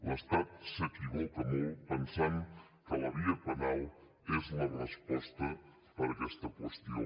l’estat s’equivoca molt pensant que la via penal és la resposta per a aquesta qüestió